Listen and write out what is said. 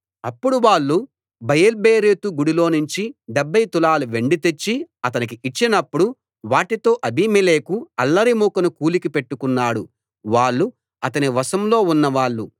అప్పుడు వాళ్ళు బయల్బెరీతు గుడిలోనుంచి డెబ్భై తులాల వెండి తెచ్చి అతనికి ఇచ్చినప్పుడు వాటితో అబీమెలెకు అల్లరి మూకను కూలికి పెట్టుకున్నాడు వాళ్ళు అతని వశంలో ఉన్నవాళ్ళు